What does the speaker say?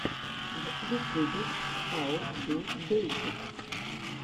в ютюбе хау ту бейсик